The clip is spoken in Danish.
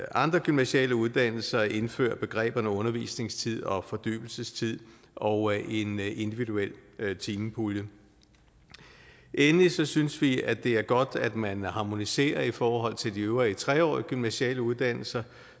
andre gymnasiale uddannelser indfører begreberne undervisningstid og fordybelsestid og en individuel timepulje endelig synes synes vi at det er godt at man harmoniserer i forhold til de øvrige tre årige gymnasiale uddannelser